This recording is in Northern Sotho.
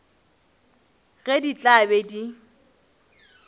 ge di tla be di